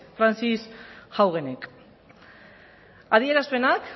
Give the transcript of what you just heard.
haugenek adierazpenak